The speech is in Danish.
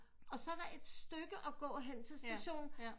Og så er der et stykke at gå hen på stationen